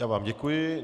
Já vám děkuji.